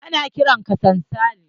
Ana kiran sa sansali.